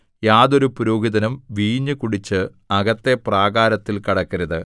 യാതൊരു പുരോഹിതനും വീഞ്ഞു കുടിച്ച് അകത്തെ പ്രാകാരത്തിൽ കടക്കരുത്